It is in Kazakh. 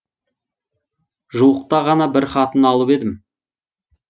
жуықта ғана бір хатын алып едім